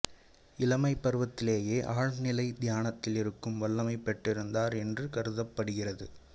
இளமைப் பருவத்திலேயே ஆழ்நிலை தியானத்தில் இருக்கும் வல்லமை பெற்றிருந்தார் என்று கருதப்படுகிறது